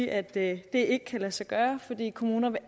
at det ikke kan lade sig gøre fordi kommuner